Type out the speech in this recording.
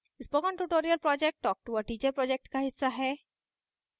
spoken tutorial project talktoa teacher project का हिस्सा है